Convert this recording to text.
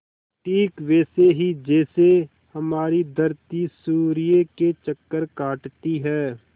ठीक वैसे ही जैसे हमारी धरती सूर्य के चक्कर काटती है